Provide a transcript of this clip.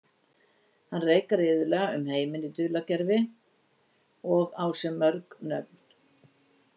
Hann reikar iðulega um heiminn í dulargervi og á sér mörg nöfn.